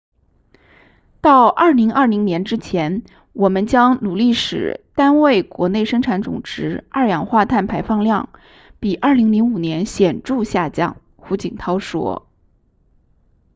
到2020年之前我们将努力使单位国内生产总值二氧化碳排放量比2005年显著下降胡锦涛说